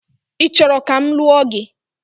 Ị chọrọ ka m lụọ gị?